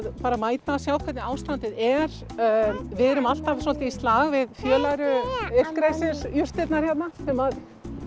bara að mæta og sjá hvernig ástandið er við erum alltaf svolítið í slag við fjölæru illgresisjurtirnar hérna sem